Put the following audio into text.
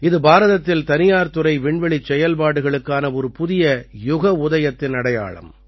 இது பாரதத்தில் தனியார் துறை விண்வெளிச் செயல்பாடுகளுக்கான ஒரு புதிய யுக உதயத்தின் அடையாளம்